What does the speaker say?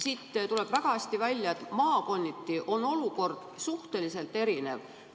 Siit tuleb väga hästi välja, et maakonniti on olukord suhteliselt erinev.